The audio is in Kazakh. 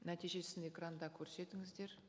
нәтижесін экранда көрсетіңіздер